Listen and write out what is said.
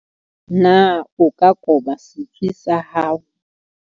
Na o ka koba setswe sa hao?